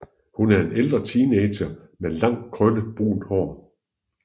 Hun er en ældre teenager med langt krøllet brunt hår